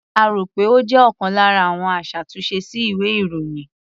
A rò pé ó jẹ́ ọlkan lára àwọn aṣàtúnṣe sí ìwé-ìròyìn.